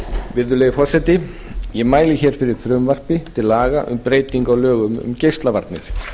virðulegi forseti ég mæli hér fyrir frumvarpi til laga um breytingu á lögum um geislavarnir